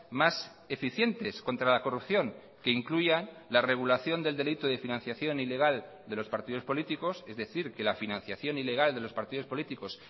más eficientes contra la corrupción que incluyan la regulación del delito de financiación ilegal de los partidos políticos es decir que la financiación ilegal de los partidos políticos